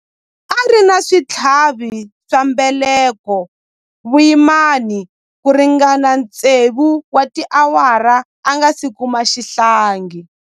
A ri na switlhavi swa mbeleko vuyimani ku ringana tsevu wa tiawara a nga si kuma xihlangi.